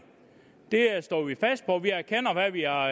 det står vi fast på vi erkender hvad vi har